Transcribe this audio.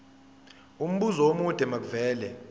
umbuzo omude makuvele